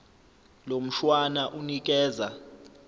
lo mshwana unikeza